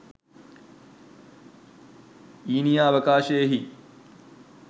ඊනියා අවකාශයෙහි